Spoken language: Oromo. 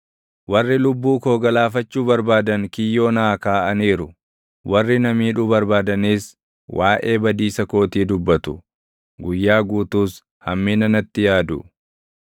Warri lubbuu koo galaafachuu barbaadan kiyyoo naa kaaʼaniiru; warri na miidhuu barbaadanis waaʼee badiisa kootii dubbatu; guyyaa guutuus hammina natti yaadu.